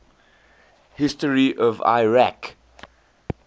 history of iraq